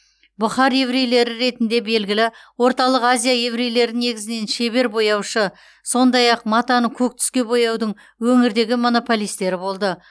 бұхар еврейлері ретінде белгілі орталық азия еврейлері негізінен шебер бояушы сондай ақ матаны көк түске бояудың өңірдегі монополистері болды